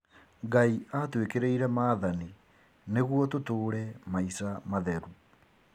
Ngai atwĩkĩrĩire maathani nĩguo tũtũre maica matheru